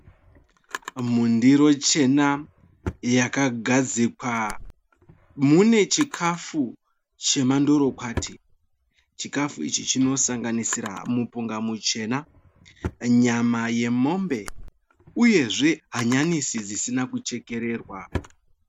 Mundiro chena yakagadzikwa mune chikafu chemandorokwati. Chikafu ichi chinosanganisira mupunga muchena, nyama yemombe uyezve hanyanisi dzisina kuchekererwa.